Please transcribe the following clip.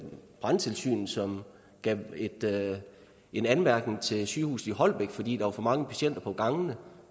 brandtilsynet som gav en anmærkning til sygehuset i holbæk fordi der var for mange patienter på gangene